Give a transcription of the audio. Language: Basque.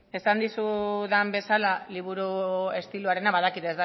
esan dizudan bezala liburu estiloarena badakit